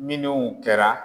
Minnu kɛra.